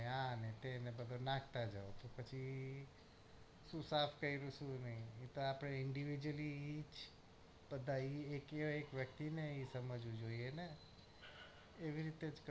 હા નેતે ને પછી નાખતા જાઉં પછી શું સાફ કરીશું ઈ આપડે individual એ બધા વ્યક્તિ ને સમજવું જોઈએ ને એવી રીતે જ